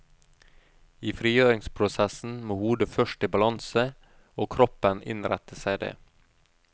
I frigjøringsprosessen må hodet først i balanse, og kroppen innrette seg det.